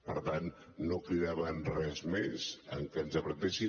per tant no cridava res més amb que ens apretessin